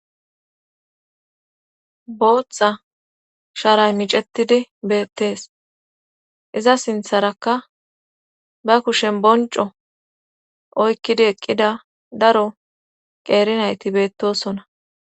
Booththa sharay micetidi beettees iza sintharakka ba kushen bonco oykkidi eqqida daro qeerinayti beettosona.